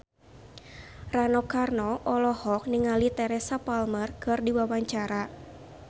Rano Karno olohok ningali Teresa Palmer keur diwawancara